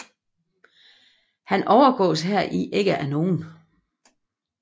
Han overgås heri ikke af nogen